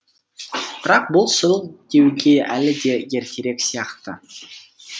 бірақ бұл сол деуге әлі де ертерек сияқты